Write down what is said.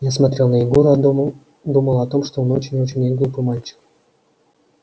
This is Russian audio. я смотрел на егора думал думал о том что он очень очень неглупый мальчик